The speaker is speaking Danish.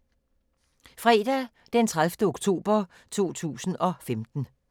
Fredag d. 30. oktober 2015